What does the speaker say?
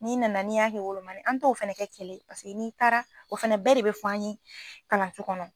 N'i nana n'i y'a kɛ wolomani an t'o fɛnɛ kɛ kɛlɛ ye paseke n'i taara o fɛnɛ bɛɛ de bɛ fɔ an ye kalanso kɔnɔ.